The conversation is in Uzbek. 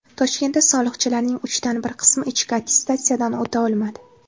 Toshkentda soliqchilarning uchdan bir qismi ichki attestatsiyadan o‘ta olmadi.